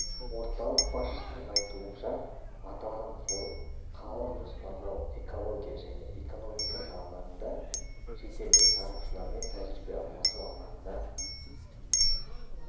орталық басшысының айтуынша аталған форум қалалық жоспарлау экология және экономика салаларында шетелдік сарапшылармен тәжірибе алмасу алаңына